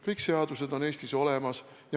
Kõik seadused on Eestis olemas.